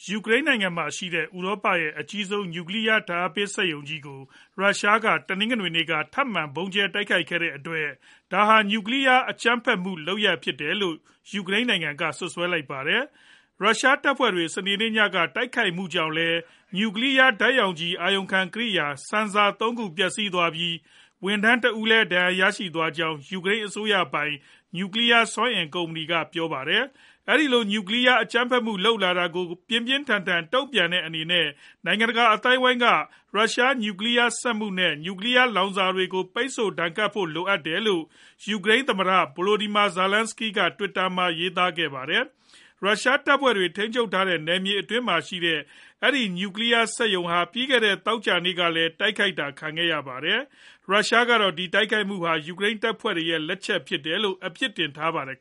ယူကရိန်းနိုင်ငံမှာရှိတဲ့ ဥရောပရဲ့ အကြီးဆုံး နျူကလီးယား ဓါတ်အားပေးစက်ရုံကြီး ကို ရုရှားက တနင်္ဂနွေနေ့က ထပ်မံဗုံးကြဲတိုက်ခိုက်ခဲ့တဲ့အတွက် ဒါဟာ နျူကလီးယား အကြမ်းဖက်မှု လုပ်ရပ်ဖြစ်တယ်လို့ စွပ်စွဲလိုက်ပါတယ်။ ရုရှားတပ်ဖွဲ့တွေ စနေနေ့ညက တိုက်ခိုက်မှုကြောင့်လည်း နျူကလီးယား ဓါတ်ရောင်ခြည် အာရုံခံ ကရိယာ Sensors ၃ ခု ပျက်စီးသွားပြီး ဝန်ထမ်းတဦးလည်း ဒဏ်ရာရရှိသွားကြောင်း ယူကရိန်း အစိုးရပိုင် နျူကလီးယား စွမ်းအင် ကုမ္ပဏီ က ပြောပါတယ်။ အဲဒီလို ရုရှားက နျူကလီးယား အကြမ်းဖက်မှု လုပ်လာတာကို ပြင်းပြင်းထန်ထန် တုံ့ပြန်တဲ့အနေနဲ့ နိုင်ငံတကာ အသိုင်းအဝိုင်းက ရုရှား နျူကလီးယား စက်မှု နဲ့ နျူကလီးယား လောင်စာတွေကို ပိတ်ဆို့ဒဏ်ခတ်ဖို့ လိုအပ်တယ်လို့ ယူကရိန်းသမ္မတ Volodymyr Zelenskyy က Twitter တွင် ရေးသားခဲ့သည်။ ရုရှားတပ်ဖွဲ့တွေ ထိန်းချုပ်ထားတဲ့ နယ်မြေအတွင်းမှာရှိတဲ့ အဲဒီ နျူကလီးယားစက်ရုံကို ပြီးခဲ့တဲ သောကြာနေ့ကလည်း တိုက်ခိုက်တာခံခဲ့ရပါတယ်။ ရုရှားကတော့ အဲဒီတိုက်ခိုက်မှုဟာ ယူကရိန်းတပ်ဖွဲ့တွေရဲ့လက်ချက်ဖြစ်တယ်လို့ အပြစ်တင်ထားပါတယ်